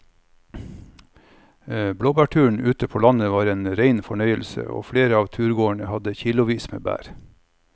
Blåbærturen ute på landet var en rein fornøyelse og flere av turgåerene hadde kilosvis med bær.